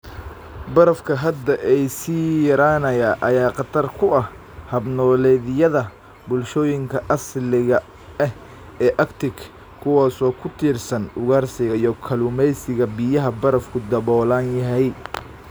Barafka badda ee sii yaraanaya ayaa khatar ku ah hab-nololeedyada bulshooyinka asaliga ah ee Arctic kuwaas oo ku tiirsan ugaarsiga iyo kalluumeysiga biyaha barafku daboolan yahay.